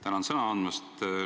Tänan sõna andmast!